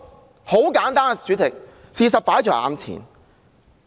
主席，很簡單，事實擺在眼前。